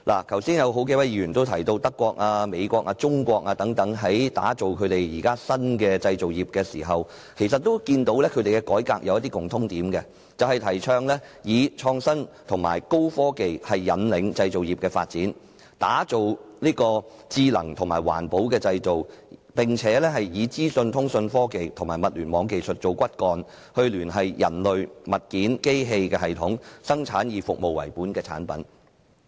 剛才有數位議員都提到，德國、美國、中國等國家現正打造新的製造業，而它們的改革其實有一些共通點：提倡以創新及高科技引領製造業發展，打造智能和環保的製造，並以資訊、通訊科技和物聯網技術為骨幹，聯繫人類、物件和機器，生產以服務為本的產品。